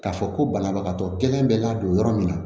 K'a fɔ ko banabagatɔ gɛlɛn bɛ ladon yɔrɔ min na